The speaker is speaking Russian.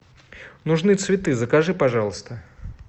нужны цветы закажи пожалуйста